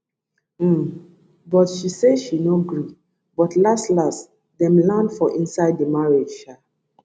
um but she say she no gree but laslas dem land for inside di marriage sha